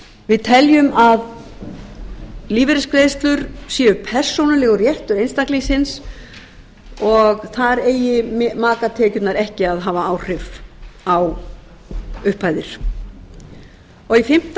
við teljum að lífeyrisgreiðslur séu persónulegur réttur einstaklingsins og þar eigi makatekjurnar ekki að hafa áhrif á upphæðir fimmti í fimmta